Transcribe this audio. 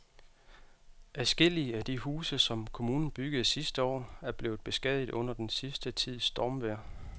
Adskillige af de huse, som kommunen byggede sidste år, er blevet beskadiget under den sidste tids stormvejr.